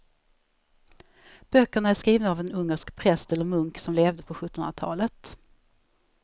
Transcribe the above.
Böckerna är skrivna av en ungersk präst eller munk som levde på sjuttonhundratalet.